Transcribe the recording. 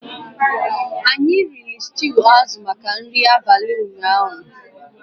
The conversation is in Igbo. Anyị nwere stew azụ maka nri abalị ụnyaahụ